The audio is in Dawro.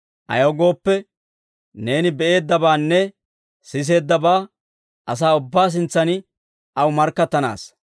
Ayaw gooppe, neeni be'eeddabaanne siseeddabaa asaa ubbaa sintsan aw markkattanaassa.